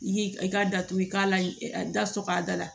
I k'i ka datugu i ka la sɔkɔ a da la